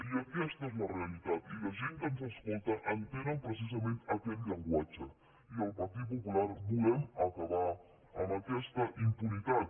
i aquesta és la realitat i la gent que ens escolta entenen precisament aquest llenguatge i al partit popular volem acabar amb aquesta impunitat